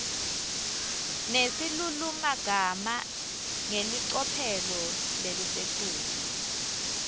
nesilulumagama ngelicophelo lelisetulu